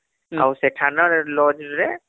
ଆଉ ସେଠାନେlodge ରେ